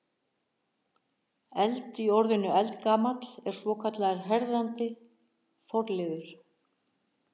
Eld- í orðinu eldgamall er svokallaður herðandi forliður.